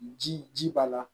Ji ji b'a la